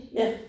Ja